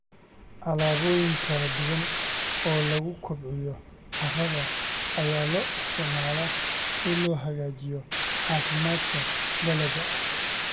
Alaabooyin kala duwan oo lagu kobciyo carrada ayaa loo isticmaalaa si loo hagaajiyo caafimaadka dalagga.